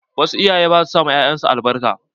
Wasu iyayen ba su ma 'ya'yan su albarka.